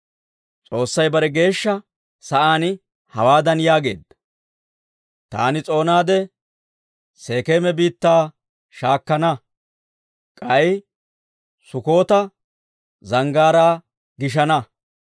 S'oossay bare geeshsha sa'aan hawaadan yaageedda; «Taani s'oonaade Sekeema biittaa shaakkana; k'ay Sukkoota zanggaaraa gishana.